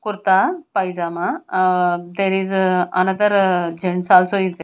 kurta pajama ah there is another gents also is the.